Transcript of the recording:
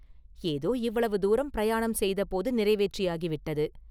ஏதோ இவ்வளவு தூரமும் பிரயாணம் செய்தபோது நிறைவேற்றியாகி விட்டது.